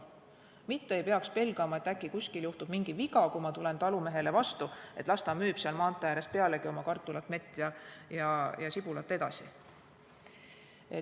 Mitte ei peaks pelgama, et äkki kuskil juhtub mingi viga, kui ma tulen talumehele vastu, et las ta pealegi müüb seal maantee ääres oma kartulit, mett ja sibulat edasi.